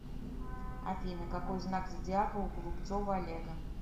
афина какой знак зодиака у голубцова олега